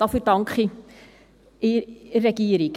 dafür danke ich der Regierung.